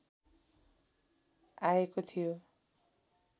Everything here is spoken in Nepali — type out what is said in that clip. आएको थियो